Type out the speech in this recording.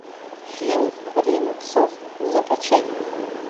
фильм время псов закачай